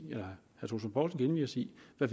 at